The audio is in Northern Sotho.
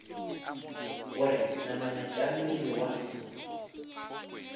gore namana tša mmele wa